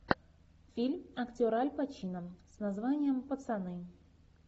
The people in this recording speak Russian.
фильм актер аль пачино с названием пацаны